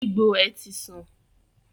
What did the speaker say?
Egbò è ti san